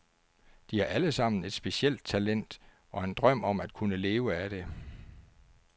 De har alle sammen et specielt talent og en drøm om at kunne leve af det.